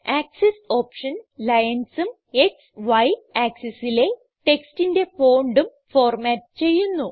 axis option ലൈൻസും ക്സ് Y axesലെ ടെക്സ്റ്റിന്റെ fontഉം ഫോർമാറ്റ് ചെയ്യുന്നു